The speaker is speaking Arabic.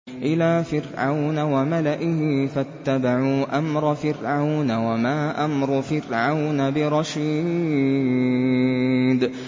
إِلَىٰ فِرْعَوْنَ وَمَلَئِهِ فَاتَّبَعُوا أَمْرَ فِرْعَوْنَ ۖ وَمَا أَمْرُ فِرْعَوْنَ بِرَشِيدٍ